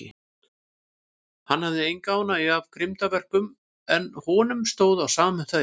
Hann hafði enga ánægju af grimmdarverkum, en honum stóð á sama um þau.